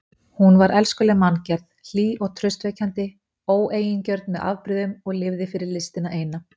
Hún var elskuleg manngerð, hlý og traustvekjandi, óeigingjörn með afbrigðum og lifði fyrir listina eina.